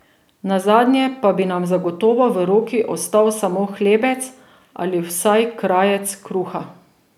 Nazadnje pa bi nam zagotovo v roki ostal samo hlebec ali vsaj krajec kruha.